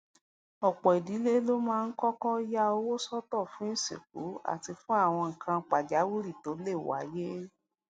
òpò ìdílé ló máa ń kókó ya owó sótò fún ìsìnkú àti fún àwọn nǹkan pàjáwìrì tó lè wáyé